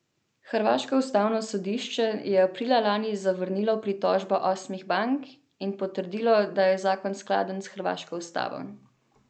Hrvaško ustavno sodišče je aprila lani zavrnilo pritožbo osmih bank in potrdilo, da je zakon skladen s hrvaško ustavo.